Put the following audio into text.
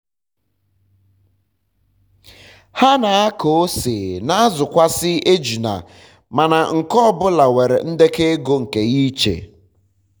ha n'akọ ose ma azụkwazị ejula mana nke ọ bụla nwere ndekọ ego nke ya ịche